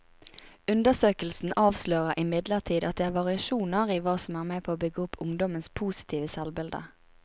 Undersøkelsen avslører imidlertid at det er variasjoner i hva som er med på å bygge opp ungdommenes positive selvbilde.